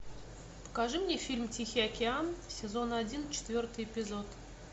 покажи мне фильм тихий океан сезон один четвертый эпизод